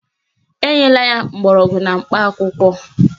Enyela ya mgbọrọgwụ na mkpa akwụkwọ